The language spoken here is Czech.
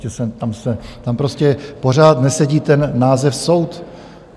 Tam prostě pořád nesedí ten název soud.